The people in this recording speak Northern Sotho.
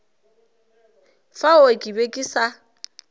fao ke be ke sa